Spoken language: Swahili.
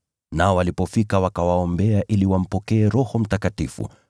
Nao walipofika wakawaombea ili wampokee Roho Mtakatifu,